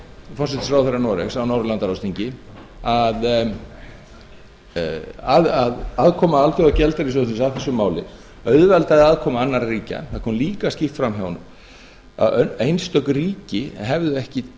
forsætisráðherra noregs á norðurlandaráðsþingi að aðkoma alþjóðagjaldeyrissjóðsins að þessu máli auðveldaði aðkomu annarra ríkja það kom líka skýrt fram hjá honum að einstök ríki hefðu ekki